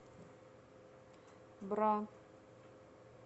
бра